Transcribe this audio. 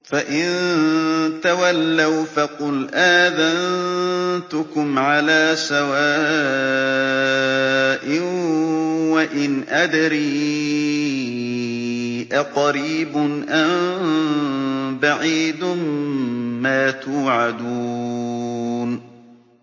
فَإِن تَوَلَّوْا فَقُلْ آذَنتُكُمْ عَلَىٰ سَوَاءٍ ۖ وَإِنْ أَدْرِي أَقَرِيبٌ أَم بَعِيدٌ مَّا تُوعَدُونَ